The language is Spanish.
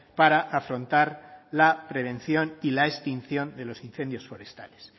para afrontar la prevención y la extinción de los incendios forestales